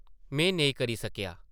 में नेईं करी सकेआ ।